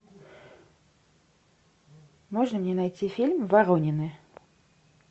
можно мне найти фильм воронины